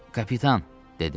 Kapitan, dedim.